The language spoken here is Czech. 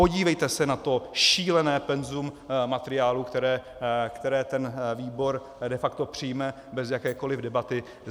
Podívejte se na to šílené penzum materiálů, které ten výbor de facto přijme bez jakékoli debaty.